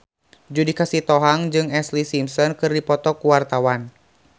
Judika Sitohang jeung Ashlee Simpson keur dipoto ku wartawan